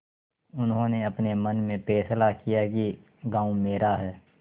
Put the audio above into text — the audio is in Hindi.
उन्होंने अपने मन में फैसला किया कि गॉँव मेरा है